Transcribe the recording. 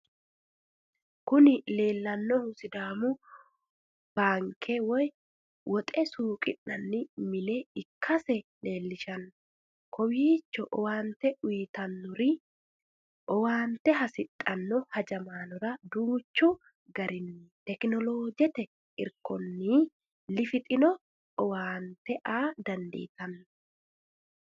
Kuni leelanohu sidaamu baamke woyi woxxe suuqqina'ni mine ikkase leelishano, kowiicho owaante uyitanori owaante hasidhanoo hajamanorra danchu garini technolojjette irikonni lifixxino owaante aa danditano